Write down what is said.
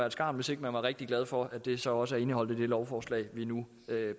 et skarn hvis ikke man var rigtig glad for at det så også er indeholdt i det lovforslag vi nu